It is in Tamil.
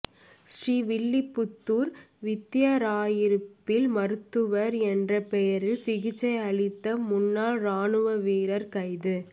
ஸ்ரீவில்லிபுத்தூர் வத்திராயிருப்பில் மருத்துவர் என்ற பெயரில் சிகிச்சை அளித்த முன்னாள் ராணுவ வீரர் கைது